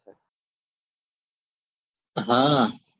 હા